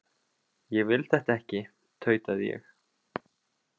Ég vil þetta ekki, tautaði ég.